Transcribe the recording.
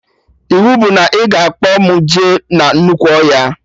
Iwu bụ na ị ga-akpọ mụ jee na nnukwu ọhịa